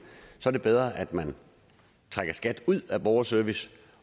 så er det bedre at man trækker skat ud af borgerservice